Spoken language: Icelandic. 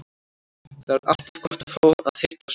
Það er alltaf gott að fá að hitta son sinn.